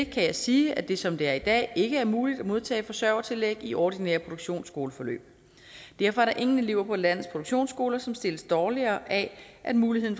jeg sige at det som det er i dag ikke er muligt at modtage forsørgertillæg i ordinære produktionsskoleforløb derfor er der ingen elever på landets produktionsskoler som stilles dårligere af at muligheden